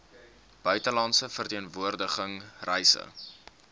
buitelandse verteenwoordiging reise